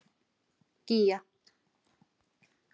Gígja